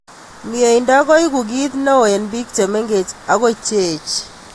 Mnyendo koeku ki neo eng bik chemengech akoi cheech.